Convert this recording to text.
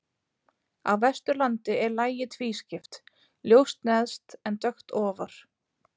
Á Vesturlandi er lagið tvískipt, ljóst neðst en dökkt ofar.